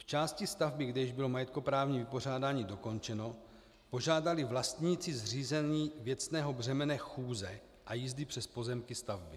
V části stavby, kde již bylo majetkoprávní vypořádání dokončeno, požádali vlastníci o zřízení věcného břemene chůze a jízdy přes pozemky stavby.